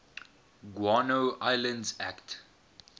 guano islands act